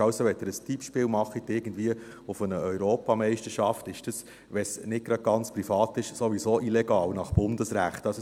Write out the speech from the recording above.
Also: Wenn Sie ein Tippspiel machen auf irgendeine Europameisterschaft, ist dies, wenn es nicht gerade ganz privat ist, nach Bundesrecht sowieso illegal.